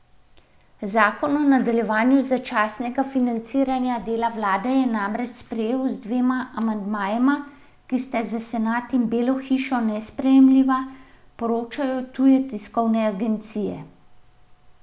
Zakon o nadaljevanju začasnega financiranja dela vlade je namreč sprejel z dvema amandmajema, ki sta za senat in Belo hišo nesprejemljiva, poročajo tuje tiskovne agencije.